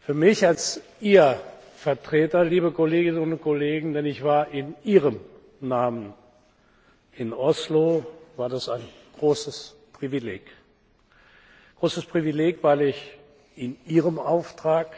Für mich als Ihr Vertreter, liebe Kolleginnen und Kollegen denn ich war in Ihrem Namen in Oslo war das ein großes Privileg, weil ich in Ihrem Auftrag